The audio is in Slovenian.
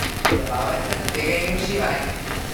Zabavaj se, tvegaj in uživaj!